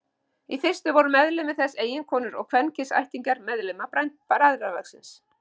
Í fyrstu voru meðlimir þess eiginkonur og kvenkyns ættingjar meðlima bræðralagsins.